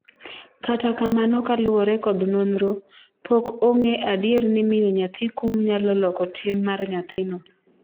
kata kamano kaluwore kod nonro, pok ong'e adier ni miyo nyathi kum nyalo loko tim mar nyathino